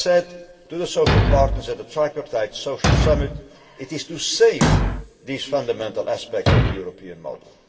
As I said to the social partners at the Tripartite Social Summit, it is to save these fundamental aspects of the European model.